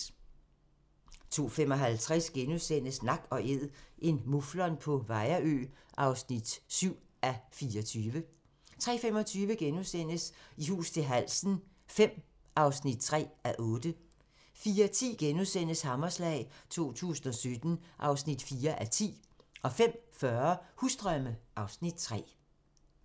02:55: Nak & Æd – en muflon på Vejrø (7:24)* 03:25: I hus til halsen V (3:8)* 04:10: Hammerslag 2017 (4:10)* 05:40: Husdrømme (Afs. 3)